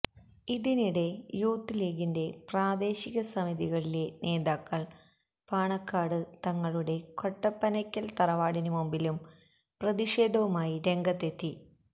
ഇതിനിടെ യൂത്ത് ലീഗിന്റെ പ്രാദേശിക സമിതികളിലെ നേതാക്കൾ പാണക്കാട് തങ്ങളുടെ കൊടപ്പനയ്ക്കൽ തറവാടിന് മുമ്പിലും പ്രതിഷേധവുമായി രംഗത്ത് എത്തി